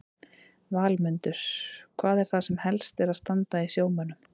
Valmundur, hvað er það sem helst er að standa í sjómönnum?